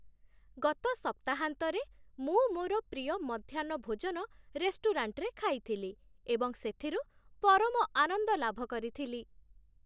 ଗତ ସପ୍ତାହାନ୍ତରେ ମୁଁ ମୋର ପ୍ରିୟ ମଧ୍ୟାହ୍ନ ଭୋଜନ ରେଷ୍ଟୁରାଣ୍ଟରେ ଖାଇଥିଲି, ଏବଂ ସେଥିରୁ ପରମ ଆନନ୍ଦ ଲାଭ କରିଥିଲି।